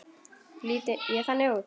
Lít ég þannig út?